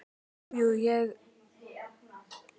Jú, jú, ég ældi.